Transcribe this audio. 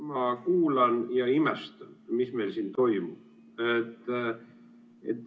Ma kuulan ja imestan, mis meil siin toimub.